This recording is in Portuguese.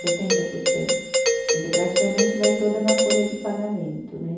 Setenta por cento, quer dizer, praticamente vai toda na folha de pagamento, né?